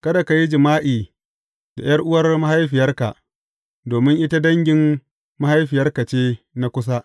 Kada ka yi jima’i da ’yar’uwar mahaifiyarka, domin ita dangin mahaifiyarka ce na kusa.